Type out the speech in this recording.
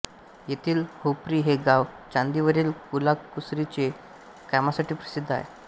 येथील हुपरी हे गाव चांदीवरील कलाकुसरीच्या कामासाठी प्रसिद्ध आहे